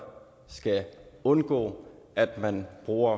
skal undgå at man bruger